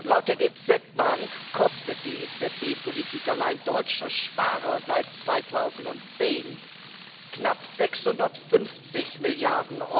Laut der DZ Bank kostet die EZB Politik allein deutsche Sparer seit 2010 knapp 650 Mrd.